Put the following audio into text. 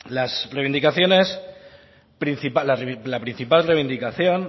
la principal reivindicación